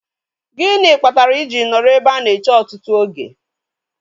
Gịnị kpatara I ji nọrọ ebe a na-eche ọtụtụ oge?